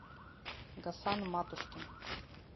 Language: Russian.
гасан матушкин